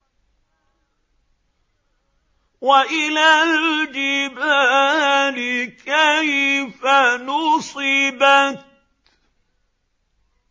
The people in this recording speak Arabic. وَإِلَى الْجِبَالِ كَيْفَ نُصِبَتْ